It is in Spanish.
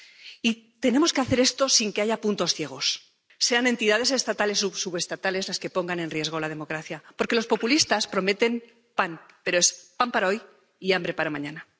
Y tenemos que hacer esto sin que haya puntos ciegos, sean entidades estatales o subestatales las que pongan en riesgo la democracia, porque los populistas prometen pan, pero es pan para hoy y hambre para mañana.